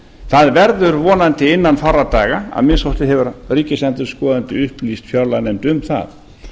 það verður vonandi innan fárra daga að minnsta kosti hefur ríkisendurskoðandi upplýst fjárlaganefnd um það